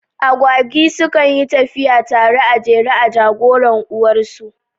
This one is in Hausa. Agwagi su kan yyi tafiya tare a jere, a jagoran uwar su